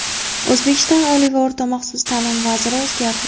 O‘zbekiston oliy va o‘rta maxsus ta’lim vaziri o‘zgardi.